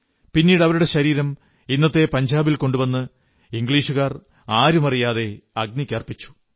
പിന്നീട് അവരുടെ ശരീരം ഇന്നത്തെ പഞ്ചാബിൽ കൊണ്ടുവന്ന് ഇംഗ്ലീഷുകാർ ആരുമറിയാതെ അഗ്നിക്കർപ്പിച്ചു